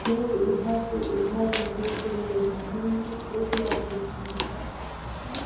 लोग इधर से उधर देखने के लिए जा रहे है एक लड़की झूले पर बैठी है।